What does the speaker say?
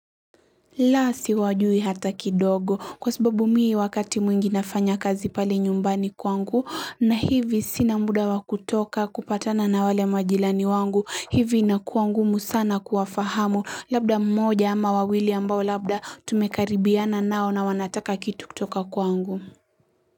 Lasi wajui hata kidogo kwa sababu mii wakati mwingi nafanya kazi pale nyumbani kwangu na hivi sinamuda wakutoka kupatana na wale majilani wangu hivi inakuwa ngumu sana kuafahamu labda mmoja ama wawili ambao labda tumekaribiana nao na wanataka kitu kutoka kwangu.